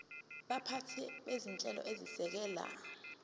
baphathi bezinhlelo ezisekela